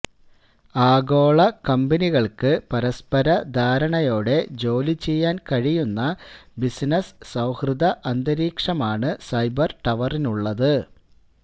ആഗോള കമ്പനികള്ക്ക് പരസ്പരധാരണയോടെ ജോലിചെയ്യാന് കഴിയുന്ന ബിസിനസ് സൌഹൃദ അന്തരീക്ഷമാണ് സൈബര് ടവറിനുള്ളത്